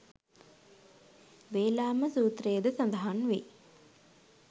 වේලාම සූත්‍රයේද සඳහන් වෙයි